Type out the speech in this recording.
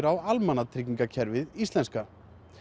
á almannatryggingakerfið íslenska